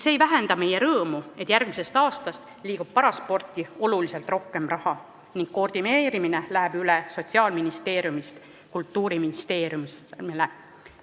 See ei vähenda meie rõõmu selle üle, et järgmisest aastast liigub parasporti oluliselt rohkem raha ning koordineerimine läheb Sotsiaalministeeriumilt üle Kultuuriministeeriumile.